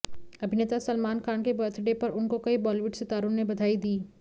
अभिनेता सलमान खान के बर्थडे पर उनको कई बॉलीवुड सितारों ने बधाई दी